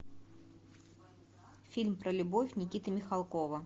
фильм про любовь никиты михалкова